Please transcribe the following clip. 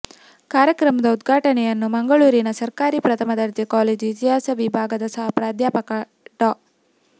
ಕಾರ್ಯಕ್ರಮದ ಉದ್ಘಾಟನೆಯನ್ನು ಮಂಗಳೂರಿನ ಸರ್ಕಾರಿ ಪ್ರಥಮ ದರ್ಜೆ ಕಾಲೇಜು ಇತಿಹಾಸ ವಿಭಾಗದ ಸಹ ಪ್ರಾಧ್ಯಾಪಕ ಡಾ